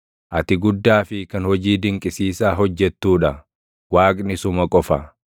Ati guddaa fi kan hojii dinqisiisaa hojjettuu dha; Waaqni suma qofa.